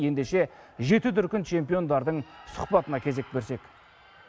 ендеше жеті дүркін чемпиондардың сұхбатына кезек берсек